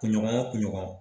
Kunɲɔgɔnya kunɲɔgɔn